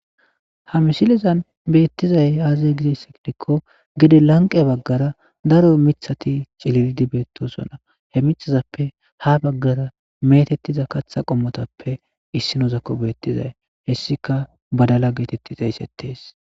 ha mishilezan beettizay aazay gidess gidikko gede lanqe baggara daro mithati cililidi beettosona he mixazappe ha baggara metettiza katha qommotappe issi nozakko beettizay hessika badala geetetti xeeysettees